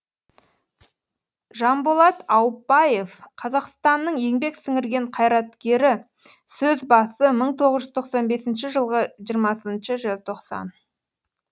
жанболат аупбаев қазақстанның еңбек сіңірген қайраткері сөз басы мың тоғыз жүз тоқсан бесінші жылғы жиырмасыншы желтоқсан